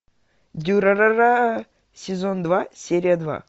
дюрарара сезон два серия два